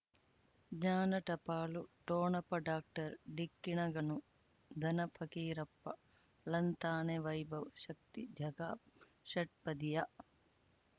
ಜ್ಞಾನ ಟಪಾಲು ಠೋಣಪ ಡಾಕ್ಟರ್ ಢಿಕ್ಕಿ ಣಗಳನು ಧನ ಫಕೀರಪ್ಪ ಳಂತಾನೆ ವೈಭವ್ ಶಕ್ತಿ ಝಗಾ ಷಟ್ಪದಿಯ